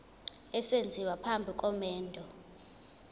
esenziwa phambi komendo